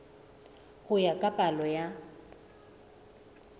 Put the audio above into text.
ho ya ka palo ya